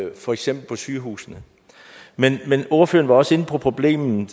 for eksempel på sygehusene men ordføreren var også inde på problemet